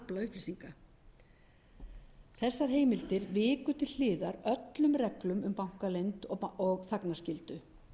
upplýsinga þessar heimildir viku til hliðar öllum reglum um bankaleynd og þagnarskyldu almennt heyra